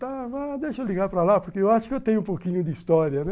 Tá, deixa eu ligar para lá, porque eu acho que eu tenho um pouquinho de história, né?